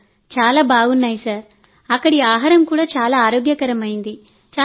మేం మొదట ప్రయత్నించినప్పుడుఅది చాలా బాగుంది అక్కడి ఆహారం చాలా ఆరోగ్యకరమైంది